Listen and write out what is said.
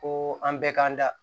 Ko an bɛɛ k'an da